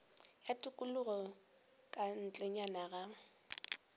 ya tikologo ka ntlenyana ga